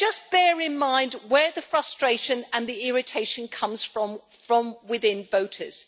Bear in mind where the frustration and the irritation comes from within voters.